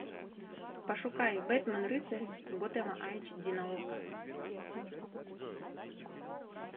пошукай бэтмен рыцарь готэма айч ди на окко